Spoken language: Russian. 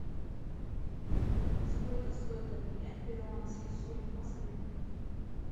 сколько стоит обменять перуанский соль в москве